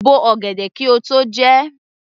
Bo ọ̀gẹ̀dẹ̀ kí o tó jẹ ẹ́!